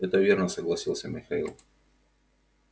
это верно согласился михаил